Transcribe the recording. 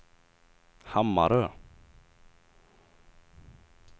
Hammarö